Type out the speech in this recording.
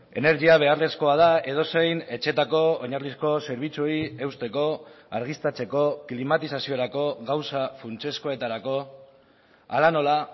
energia beharrezkoa da edozein etxeetako oinarrizko zerbitzuei eusteko argiztatzeko klimatizaziorako gauza funtsezkoetarako hala nola